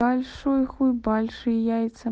большой хуй большие яйца